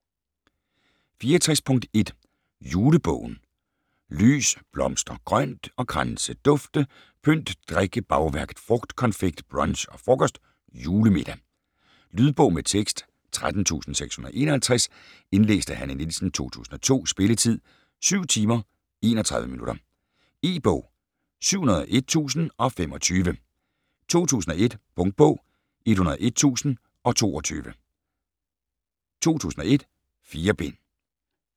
64.1 Julebogen Lys, blomster, grønt og kranse, dufte, pynt, drikke, bagværk, frugt, konfekt, brunch og frokost, julemiddag. Lydbog med tekst 13651 Indlæst af Hanne Nielsen, 2002. Spilletid: 7 timer, 31 minutter. E-bog 701025 2001. Punktbog 101022 2001. 4 bind.